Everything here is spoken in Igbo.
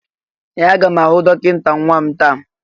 Ee! Aga m ahụ dọkịta nwa m taa.